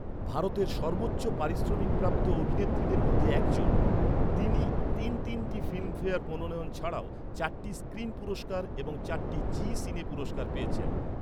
ভারতের সর্বোচ্চ পারিশ্রমিক প্রাপ্ত অভিনেত্রীদের মধ্যে এক জন, তিনি তিন তিনটি ফিল্মফেয়ার মনোনয়ন ছাড়াও চারটি স্ক্রিন পুরস্কার এবং চারটি জি সিনে পুরস্কার পেয়েছেন।